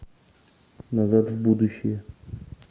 назад в будущее